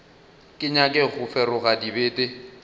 ke nyake go feroga dibete